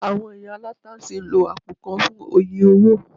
Àwọn ìyá aláta sì ń lo àpò kan fún oye owó